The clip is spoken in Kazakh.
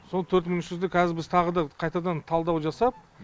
сол төрт мың үш жүзді қазір біз тағы да қайтадан талдау жасап